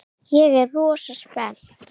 Ég er rosa spennt.